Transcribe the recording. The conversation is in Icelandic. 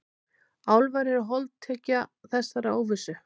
Álfar eru holdtekja þessarar óvissu.